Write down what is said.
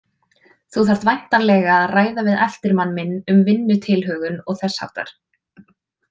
Þú þarft væntanlega að ræða við eftirmann minn um vinnutilhögun og þess háttar.